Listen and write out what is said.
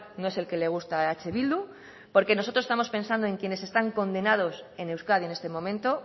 no es el que le gusta a eh bildu porque nosotros estamos pensando en quienes están condenados en euskadi en este momento